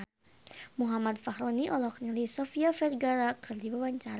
Muhammad Fachroni olohok ningali Sofia Vergara keur diwawancara